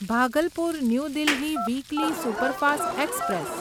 Bhagalpur new Delhi weekly superfast express